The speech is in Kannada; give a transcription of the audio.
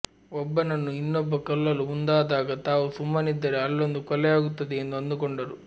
ಒಬ್ಬನನ್ನು ಇನ್ನೊಬ್ಬ ಕೊಲ್ಲಲು ಮುಂದಾದಾಗ ತಾವು ಸುಮ್ಮನಿದ್ದರೆ ಅಲ್ಲೊಂದು ಕೊಲೆಯಾಗುತ್ತದೆ ಎಂದು ಅಂದುಕೊಂಡರು